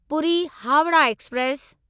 Puri Howrah express